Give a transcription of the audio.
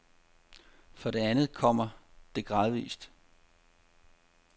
For det andet kommer det gradvis.